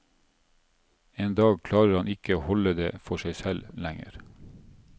En dag klarer han ikke å holde det for seg selv lenger.